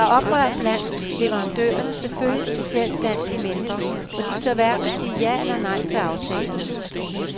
Der er oprør blandt leverandørerne, selvfølgelig specielt blandt de mindre, for de tør hverken sige ja eller nej til aftalen.